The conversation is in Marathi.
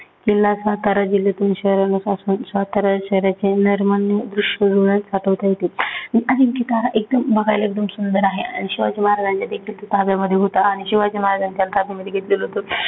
किल्ला सातारा जिल्ह्यातून सातारा शहराचे नयन रम्य दृश्य डोळ्यात साठवता येते. अजिंक्यतारा एकदम बघायला एकदम सुंदर आहे. आणि शिवाजी महाराजांच्या देखील ताब्यामध्ये होते